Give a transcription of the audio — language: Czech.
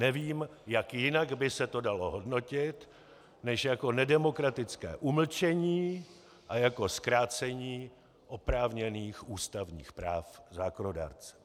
Nevím, jak jinak by se to dalo hodnotit než jako nedemokratické umlčení a jako zkrácení oprávněných ústavních práv zákonodárce.